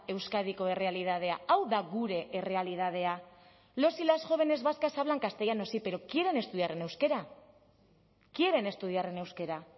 euskadiko errealitatea hau da gure errealitatea los y las jóvenes vascas hablan castellano sí pero quieren estudiar en euskera quieren estudiar en euskera